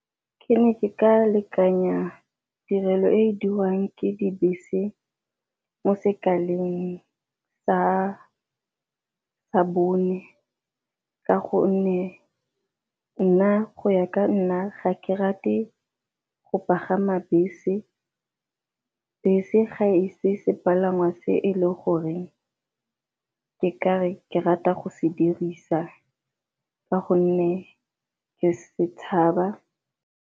Ke ne ke ka lekanya tirelo e e dirwang ke dibese mo sekaleng sa bone, ka gonne nna go ya ka nna ga ke rate go pagama bese. Bese ga e se sepalangwa se e le goreng ke ka re ke rata go se dirisa ka gonne ke setshaba.